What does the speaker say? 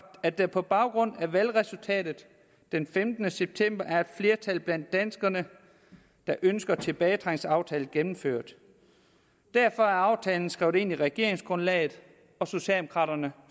at der på baggrund af valgresultatet den femtende september er et flertal blandt danskerne der ønsker en tilbagetrækningsaftale gennemført derfor er aftalen skrevet ind i regeringsgrundlaget og socialdemokraterne